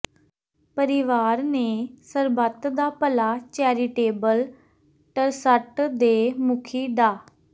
ਪਰਿਵਾਰ ਨੇ Sarbat da Bhala charitable trust ਦੇ ਮੁਖੀ ਡਾ